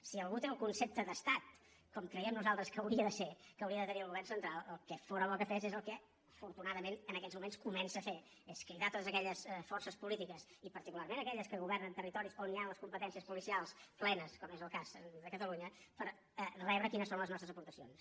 si algú té el concepte d’estat com creiem nosaltres que hauria de ser que hauria de tenir el govern central el que fóra bo que fes és el que afortunadament en aquests moments comença a fer és cridar a totes aquelles forces polítiques i particularment aquelles que governen territoris on hi han les competències policials plenes com és el cas de catalunya per rebre quines són les nostres aportacions